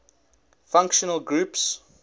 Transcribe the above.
functional groups